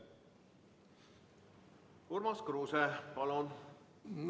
Urmas Kruuse, palun!